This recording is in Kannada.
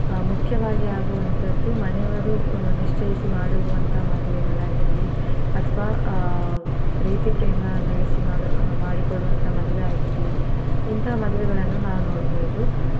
ಮುಖ್ಯವಾಗಿ ಆಗುವಂತದ್ದು ಮನೆಯವರು ಆ ನಿಶ್ಚಯಿಸಿ ಮಾಡಿರುವಂತ ಮದ್ವೆಗಳಾಗಿರಲಿ ಅಥವಾ ಆ ಪ್ರೀತಿ ಪ್ರೇಮ ನಡೆಸಿ ಮಾಡು ಮಾಡಿಕೊಡುವಂತಹ ಮದ್ವೆ ಆಗಿರಲಿ ಇಂತಹ ಮದುವೆಗಳನ್ನು ನಾವ್ ನೋಡ್ಬಹುದು